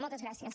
moltes gràcies